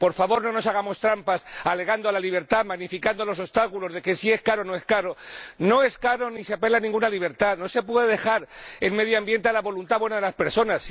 Por favor, no nos hagamos trampas apelando a la libertad, magnificando los obstáculos, evaluando si es caro o no es caro. No es caro ni se apela a ninguna libertad, no se puede dejar el medio ambiente a la buena voluntad de las personas.